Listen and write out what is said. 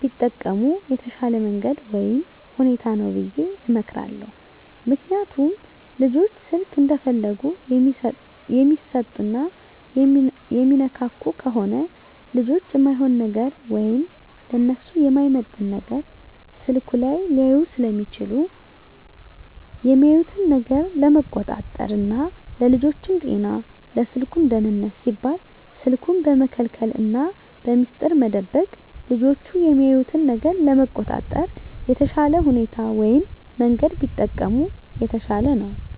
ቢጠቀሙ የተሻለ መንገድ ወይም ሁኔታ ነው ብየ እመክራለሁ። ምክንያቱም ልጆች ስልክ እንደፈለጉ የሚሰጡና የሚነካኩ ከሆነ ልጆች እማይሆን ነገር ወይም ለነሱ የማይመጥን ነገር ስልኩ ላይ ሊያዩ ስለሚችሉ የሚያዩትን ነገር ለመቆጣጠር ና ለልጆቹም ጤና ለስልኩም ደህንነት ሲባል ስልኩን በመከልከልና በሚስጥር መደበቅ ልጆች የሚያዩትን ነገር ለመቆጣጠር የተሻለ ሁኔታ ወይም መንገድ ቢጠቀሙ የተሻለ ነው።